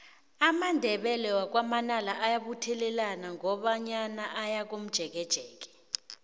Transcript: amandebele wakwa manala ayabuthelana qobe nyaka aye komjekejeke